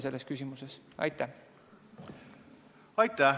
Aitäh!